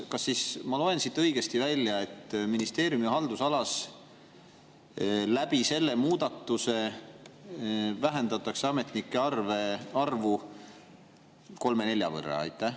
Kas ma loen siit õigesti välja, et ministeeriumi haldusalas vähendatakse selle muudatusega ametnike arvu kolme-nelja võrra?